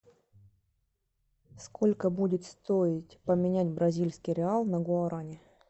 сколько будет стоить поменять бразильский реал на гуарани